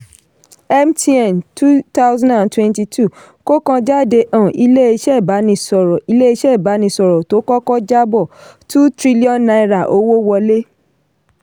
mtn twenty twenty two kókanjáde um iléeṣẹ́ ìbánisọ̀rọ̀ iléeṣẹ́ ìbánisọ̀rọ̀ tó kọ́kọ́ jabọ̀ two trillion naira owó wọlé